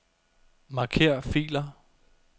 Marker filer.